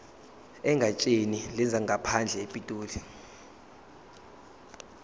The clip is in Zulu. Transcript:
egatsheni lezangaphandle epitoli